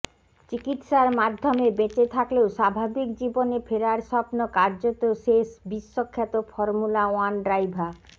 চিকিত্সার মাধ্যমে বেঁচে থাকলেও স্বাভাবিক জীবনে ফেরার স্বপ্ন কার্যত শেষ বিশ্বখ্যাত ফর্মুলা ওয়ান ড্রাইভা